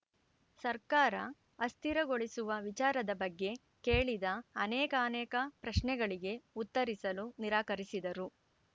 ಸರ್ಕಾರ ಅಸ್ಥಿರಗೊಳಿಸುವ ವಿಚಾರದ ಬಗ್ಗೆ ಕೇಳಿದ ಅನೇಕಾನೇಕ ಪ್ರಶ್ನೆಗಳಿಗೆ ಉತ್ತರಿಸಲು ನಿರಾಕರಿಸಿದರು